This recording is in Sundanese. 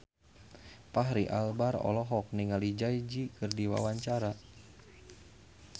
Fachri Albar olohok ningali Jay Z keur diwawancara